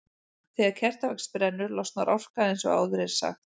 Þegar kertavax brennur losnar orka eins og áður er sagt.